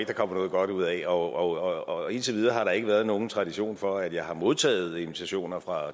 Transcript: der kommer noget godt ud af og og indtil videre har der ikke været nogen tradition for at jeg har modtaget invitationer fra